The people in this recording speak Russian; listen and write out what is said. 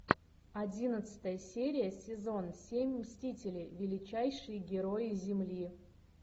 одиннадцатая серия сезон семь мстители величайшие герои земли